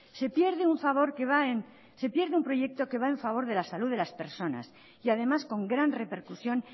se pierde un proyecto que va en favor de la salud de las personas y además con gran repercusión